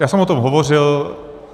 Já jsem o tom hovořil.